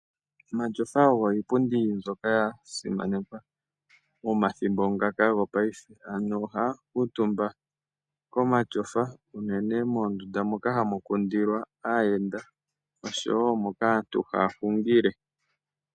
Omatyofa ogo iipundi mbyoka ya simanekwa momathimbo ngaka gopayife. Aantu oha ya kuutumba komatyofa unene moondunda moka ha mu kundilwa aayenda osho wo moka aantu ha ya hungile.